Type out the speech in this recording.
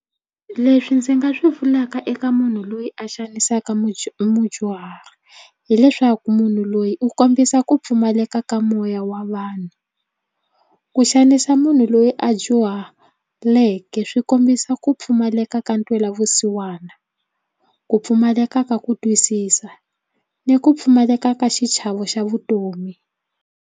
Leswi ndzi nga swi vulaka eka munhu loyi a xanisaka mudyuhari hileswaku munhu loyi u kombisa ku pfumaleka ka moya wa vanhu. Ku xanisa munhu loyi a dyuhaleke swi kombisa ku pfumaleka ka ntwela vusiwana ku pfumaleka ka ku twisisa ni ku pfumaleka ka xichavo xa vutomi.